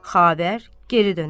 Xavər geri dönər.